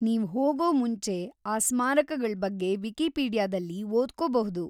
ನೀವು ಹೋಗೊ ಮುಂಚೆ ಆ ಸ್ಮಾರಕಗಳ್‌ ಬಗ್ಗೆ ವಿಕಿಪೀಡಿಯಾದಲ್ಲಿ ಓದ್ಕೊಬಹುದು.